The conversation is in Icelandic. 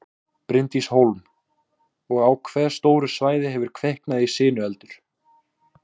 Bryndís Hólm: Og á hve stóru svæði hefur kviknað í sinueldur?